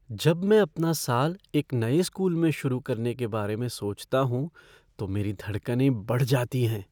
जब मैं अपना साल एक नए स्कूल में शुरू करने के बारे में सोचता हूँ तो मेरी धड़कनें बढ़ जाती हैं।